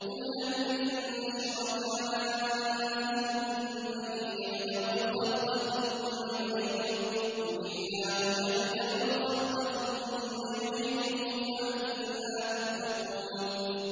قُلْ هَلْ مِن شُرَكَائِكُم مَّن يَبْدَأُ الْخَلْقَ ثُمَّ يُعِيدُهُ ۚ قُلِ اللَّهُ يَبْدَأُ الْخَلْقَ ثُمَّ يُعِيدُهُ ۖ فَأَنَّىٰ تُؤْفَكُونَ